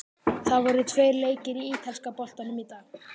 Það voru tveir leikir í ítalska boltanum í dag.